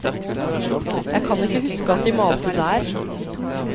Jeg kan ikke huske at de malte der.